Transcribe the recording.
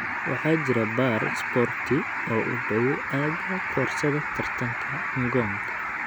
waxaa jira baar isboorti oo u dhow aagga koorsada tartanka ngong